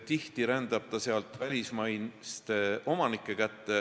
Tihti rändab maa sealt välismaiste omanike kätte.